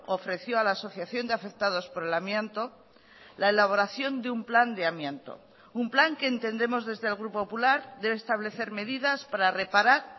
ofreció a la asociación de afectados por el amianto la elaboración de un plan de amianto un plan que entendemos desde el grupo popular debe establecer medidas para reparar